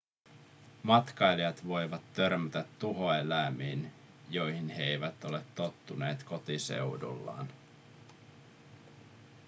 matkailijat voivat törmätä tuhoeläimiin joihin he eivät ole tottuneet kotiseudullaan